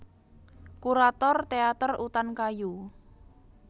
Kurator Teater Utan Kayu